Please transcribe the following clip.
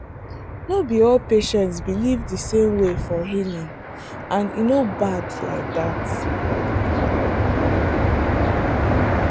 no be all patients believe the same way for healing and e no bad like that.